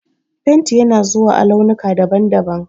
Fenti yana zuwa a launuka daban-daban.